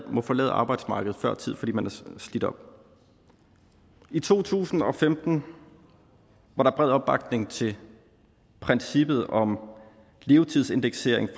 må forlade arbejdsmarkedet før tid fordi man er slidt op i to tusind og femten var der bred opbakning til princippet om levetidsindeksering